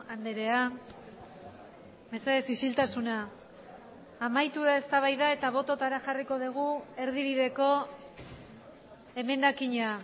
andrea mesedez ixiltasuna amaitu da eztabaida eta bototara jarriko dugu erdibideko emendakina